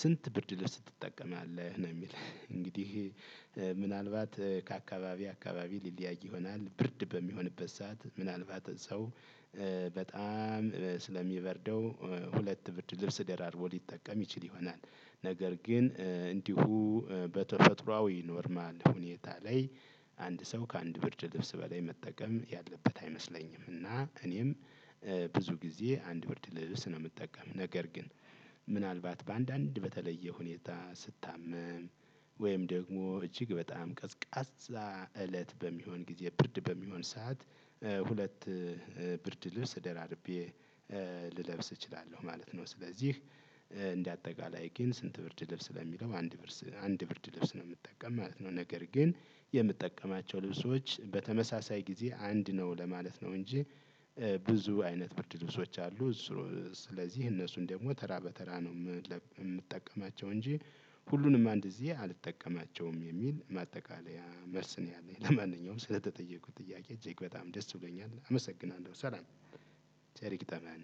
ስንት ብርድ ልብስ ትጠቀማለህ ነው የሚል እንግዲህ ምናልባት ከአካባቢ አካባቢ ሊለያይ ይሆናል። ብርድ በሚሆንበት ሰዓት ምናልባት ሰው በጣም ስለሚበርደው ሁለት ብርድ ልብስ ደራርቦ ሊጠቀም ይችል ይሆናል። ነገር ግን እንዲሁ በተፈጥሮአዊ ኖርማል ሁኔታ ላይ። አንድ ሰው ከአንድ ብርድ ልብስ በላይ መጠቀም ያለበት አይመስለኝም። እና እኔም ብዙ ጊዜ አንድ ብርድ ልብስ ነው የምጠቀም። ነገር ግን። ምናልባት በአንዳንድ በተለየ ሁኔታ ስታመም ወይም ደግሞ እጅግ በጣም ቀስቃዛ እለት በሚሆን ጊዜ ብርድ በሚሆን ሰዓት። ሁለት ብርድ ልብስ ደራርቤ ልለብስ እችላለሁ ማለት ነው። ስለዚህ እንደ አጠቃላይ ግን ስንት ብርድ ልብስ ለሚለው አንድ ብርድ አንድ ብርድ ልብስ ነው የምጠቀም ማለት ነው። ነገር ግን የምጠቀማቸው ልብሶች በተመሳሳይ ጊዜ አንድ ነው ለማለት ነው። እንጂ ብዙ አይነት ብርድ ልብሶች አሉ። እሱ ስለዚህ እነሱን ደግሞ ተራ በተራ ነው የምጠቀማቸው እንጂ ሁሉንም አንድ ጊዜ አልጠቀማቸውም የሚል ማጠቃለያ መልስ ነው። ያለኝ ለማንኛውም ስለተጠየኩት ጥያቄ እጅግ በጣም ደስ ብሎኛል አመሰግናለሁ። ሰላም ቸር ይግጠመን።